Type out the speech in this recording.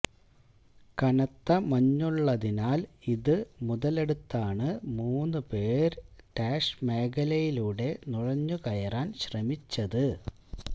കനത്ത മഞ്ഞുള്ളതിനാല് ഇത് മുതലെടുത്താണ് മൂന്നു പേര് ടാഷ് മേഖലയിലൂടെ നുഴഞ്ഞു കയറാന് ശ്രമിച്ചത്